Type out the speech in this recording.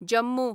Jammu